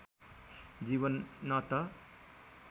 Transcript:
जीवन न त